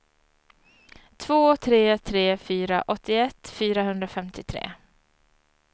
två tre tre fyra åttioett fyrahundrafemtiotre